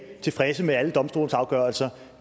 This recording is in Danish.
er tilfredse med alle domstolsafgørelser